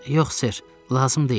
Yox ser, lazım deyil,